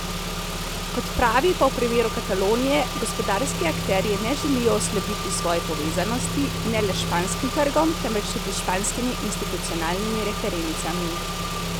Kot pravi, pa v primeru Katalonije, gospodarski akterji ne želijo oslabiti svoje povezanosti, ne le s španskim trgom, temveč tudi s španskimi institucionalnimi referencami.